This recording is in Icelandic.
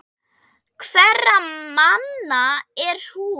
Hverra manna er hún?